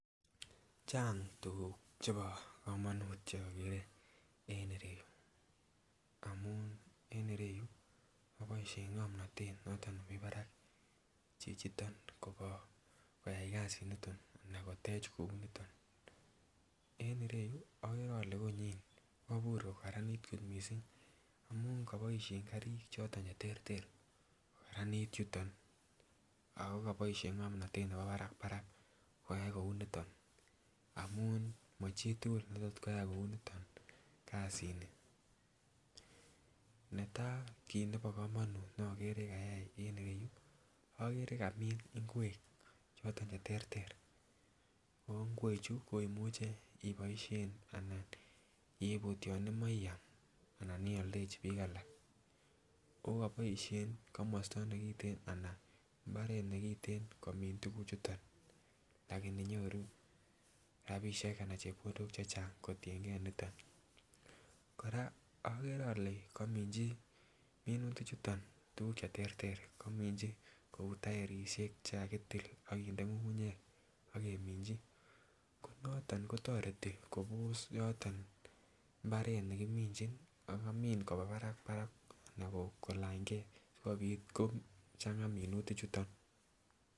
Chang tugug chebo komonut che ogere en ireyu amun en ireyu ko koboishen ngomnotet noton nemii barak kobo koyay kazi niton anan kotech kou niton. En ireyu ogere ole konyin ko kobur ko karanit kot missing amun koboishen karik choton che terter kogaranit yuton ako koboishen ngomtotet nebo barak barak koyay kouu niton amun mo chi tugul ne tot koyay kouu niton kazini. Netaa kit ne ogere nebo komonut ne ogere kayay en yuu ogere kamin ingwek choton che terter ago ingwechu imuche iboishen anan iput yon imoche iyam anan iyoldechi biik alak oo koboishen komosto nekiten ana imbaret nekiten komin tuguchuton lakini nyoruu rabishek chechang anan chepkondok chechang kotiengee niton koraa ogere ole komichi minutik chu tuguk che terter komichi kouu taerishek che kakitil ak kinde ngungunyek ak kimichi ko noton kotoreti kobos yoton imbaret nekimichin ak kamin kobaa barak barak anan kolany gee asikopit kochangaa minuti chuton